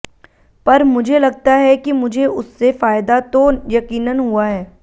पर मुझे लगता है कि मुझे उससे फायदा तो यकीनन हुआ है